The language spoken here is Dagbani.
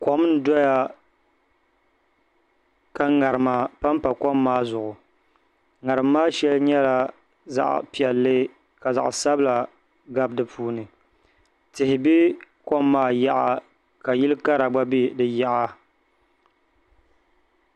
Kom n doya ka ŋarima panpa kom maa zuɣu ŋarim maa shɛli nyɛla zaɣ piɛlli ka zaɣ sabila gabi di puuni tihi bɛ kom maa yaɣa ka yili kara gba bɛ di yaɣa